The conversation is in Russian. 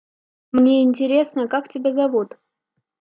мне интересно как тебя зовут